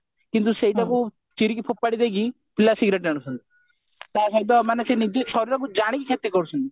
କିନ୍ତୁ ସେଇଟା କୁ ଚିରି କି ଫୋପାଡି ଦେଇକି ପିଲା cigarette ଟାଣୁଛନ୍ତି ତା ସହିତ ମାନେ ସେ ନିଜେ ଶରୀରକୁ ଜାଣିକି କ୍ଷତି କରୁଛନ୍ତି